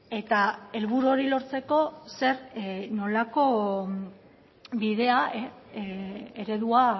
eta helburu hori lortzeko zer nolako bidea eredua